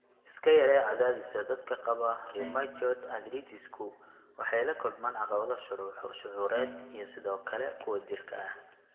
Iska yaree Cadaadiska Dadka qaba rheumatoid arthritis-ku waxay la kulmaan caqabado shucuureed iyo sidoo kale kuwa jirka ah.